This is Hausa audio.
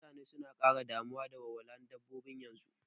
Mutane suna ƙara damuwa da walwalar dabbobi yanzu